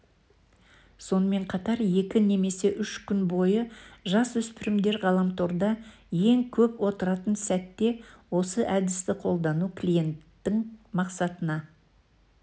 сонымен қатар екі немесе үш күн бойы жасөспірімдер ғаламторда ең көп отыратын сәтте осы әдісті қолдану клиенттің мақсатына